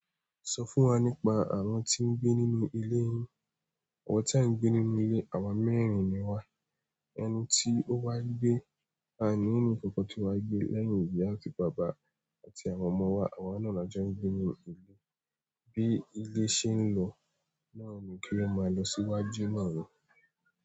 Sọ fún wa nípa àwọn tí ń gbé nínú ilé yín. Àwọn tí a ń gbé nínú ilé, àwa mẹ́rin ni wà, ẹni tí ó wá gbé, à nínú ìkọkọ tí wá gbé lẹ́yìn ìyá àti bàbá àti àwọn ọmọ wa, àwa nàá ni a jọ gbé nínú ilé. Bí ilé ṣe ń lọ náà ni kí ó máa lọ sí iwájú náà ni.